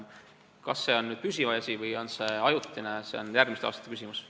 Kas see on püsiv või on see ajutine, see on järgmiste aastate küsimus.